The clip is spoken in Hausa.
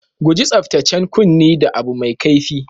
Guji tsabtacen kunni da abu mai kaifi.